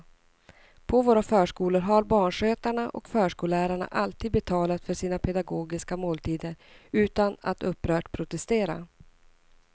På våra förskolor har barnskötarna och förskollärarna alltid betalat för sina pedagogiska måltider utan att upprört protestera.